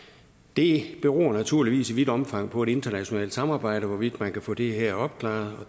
det beror naturligvis i vidt omfang på et internationalt samarbejde hvorvidt man kan få det her opklaret